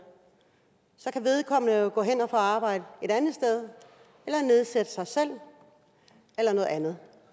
så kan vedkommende jo gå hen og få arbejde et andet sted eller nedsætte sig selv eller noget andet